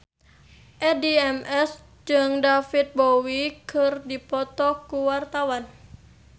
Addie MS jeung David Bowie keur dipoto ku wartawan